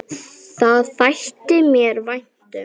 Það þætti mér vænt um